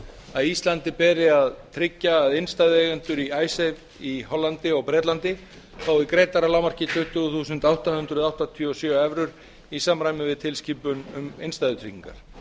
að íslandi beri að tryggja að innstæðueigendur í icesave í hollandi og bretlandi fái greiddar að lágmarki tuttugu þúsund átta hundruð áttatíu og sjö evrur í samræmi við tilskipun um innstæðutryggingar